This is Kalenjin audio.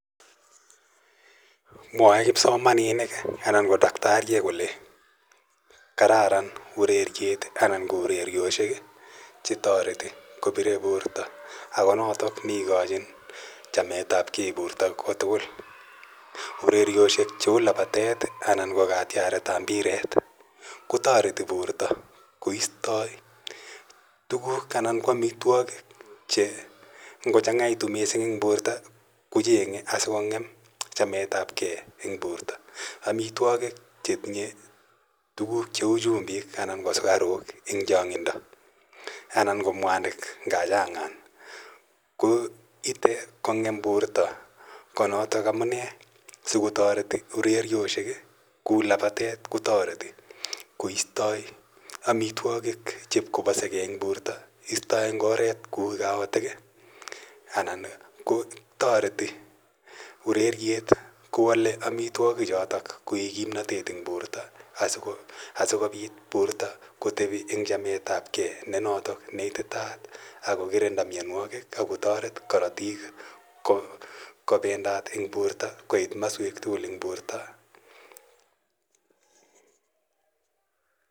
Mwae kipsomaninik anan ko daktarishek kole kararan ureriet anan ko urerioshek che tareti kopire porto ako notok ne ikachin chamet ap gei porto ko tugul. Urerioshek che u lapatet anan kokatiaret ap mbiret koistai tuguuk anan ko amitwogik che ngochang'aitu missing' eng' porto ko cheng'e asikong'em chamet ap gei eng' porto. Amitwogik che tinye tuguk che u chumbik anan ko sukaruk eng' chang'indo anan ko mwanik cha chang' ko ite kong'em porto ko notok amu ne siko tareti urerioshek kou lapatet kotareti koistai amitwogik chepkopasegei eng' porto , istai eng' oret kou kaotik anan ko tareti ureriet kowale amitwogichotok koik kimnatet eng' porto asikopit kotepi porto eng' chamet ap gei notok ne ititaat ako kirinda mianwogik ako taret karatik kopendat eng' porto , koit maswek tugul eng' porto.